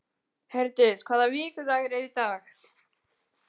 Herdís, hvaða vikudagur er í dag?